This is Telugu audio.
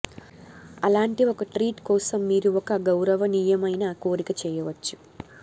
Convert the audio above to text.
అలాంటి ఒక ట్రీట్ కోసం మీరు ఒక గౌరవనీయమైన కోరిక చేయవచ్చు